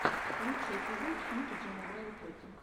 лучший эпизод пиюбиджи мобайл тоти